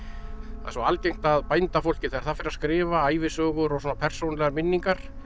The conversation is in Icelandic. það er svo algengt að þegar það fer að skrifa ævisögur og svona persónulegar minningar